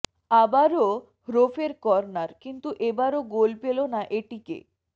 অাবারও হোফ্রের কর্নার কিন্তু এবারও গোল পেল না এটিকে